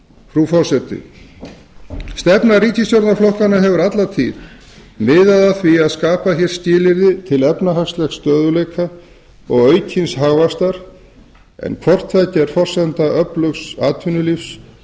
frú forseti stefna ríkisstjórnarflokkanna hefur alla tíð miðað að því að skapa hér skilyrði til efnahagslegs stöðugleika og aukins hagvaxtar en hvort tveggja er forsenda öflugs atvinnulífs